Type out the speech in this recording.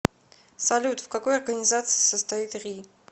салют в какой организации состоит ри